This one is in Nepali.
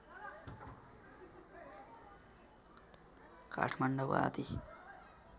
काठमाडौँ आदि